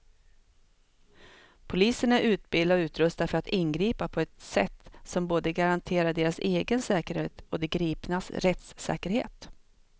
Polisen är utbildad och utrustad för att ingripa på ett sätt som både garanterar deras egen säkerhet och de gripnas rättssäkerhet.